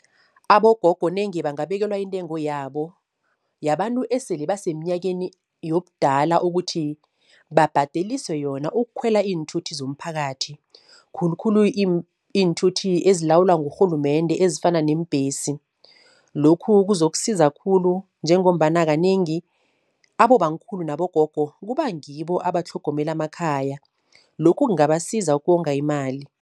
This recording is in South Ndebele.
Abogogo nenge bangabekelwa intengo yabo yabantu esele basemnyakeni yobudala, ukuthi babhadeliswe yona ukukhwela iinthuthi zomphakathi, khulukhulu iinthuthi ezilawulwa ngurhulumende ezifana neembhesi. Lokhu kuzokusiza khulu, njengombana kanengi abobankhulu nabogogo kuba ngibo abatlhogomela amakhaya, lokhu kungabasiza ukonga imali.